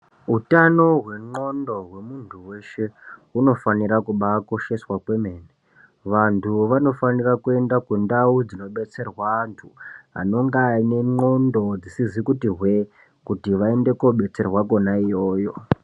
Utano hwenwondo hwemuntu weshe unofanira kumbaakosheswa kwemene, vantu vanofanirwa kuenda kundau dzinodetserwa vantu anenge aine nwondo dzisizi kuti hwee, kuti vaende kunodetserwa kona iyoyo.